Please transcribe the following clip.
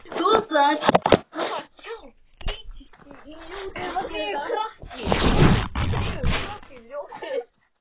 Það þyrfti að mála þessi hús, sagði hún svo.